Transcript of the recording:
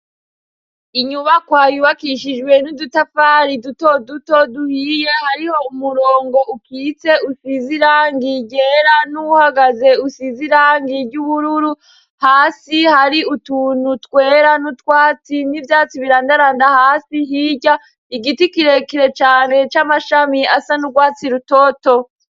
Inyubakoayubakishijwe n'udutafari duto duto duhiye hariho umurongo ukwise usizirangigera n'uhagaze usizirangiry' ubururu hasi hari utuntu twera n'utwatsi n'ivyatsi birandaranda hasi hirya igiti kirekere cane c'amae shamiy asana urwatsi rutoto.